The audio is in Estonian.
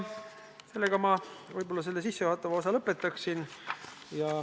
Sellega ma sissejuhatava osa võib-olla lõpetaksingi.